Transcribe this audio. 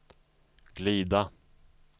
glida